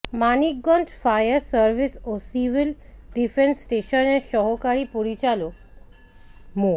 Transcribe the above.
Manikganj fire service ও civil defence স্টেশনের সহকারী পরিচালক মো